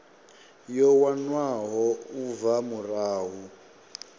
yo wanwaho u bva murahu